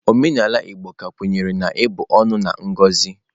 Omenala Igbo ka kwenyere na ịbu ọnụ na ngozi.